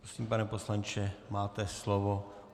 Prosím, pane poslanče, máte slovo.